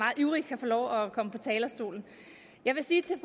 ivrig kan få lov at komme på talerstolen jeg vil sige til